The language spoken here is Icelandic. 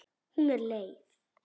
Hún er leið.